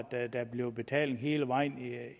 at der bliver betaling hele vejen